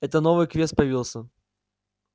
это новый квест появился